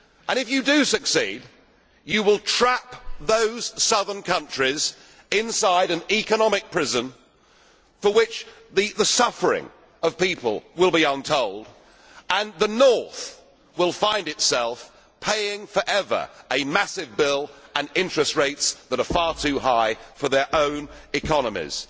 If you do succeed, you will trap those southern countries inside an economic prison, in which people's suffering will be untold, while the northern countries will find themselves paying, forever, a massive bill and interest rates that are far too high for their own economies.